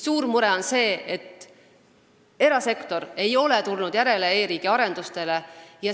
Suur mure on see, et erasektor ei ole tulnud järele e-riigi arendustele.